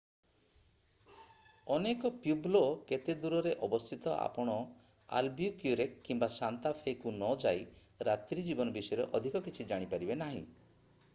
ଅନେକ ପ୍ୟୁବ୍ଲୋ କେତେ ଦୂରରେ ଅବସ୍ଥିତ ଆପଣ ଆଲବ୍ୟୁକ୍ୟୁରେକ କିମ୍ବା ସାନ୍ତା ଫେ କୁ ନ ଯାଇ ରାତ୍ରୀ ଜୀବନ ବିଷୟରେ ଅଧିକ କିଛି ଜାଣି ପାରିବେ ନାହିଁ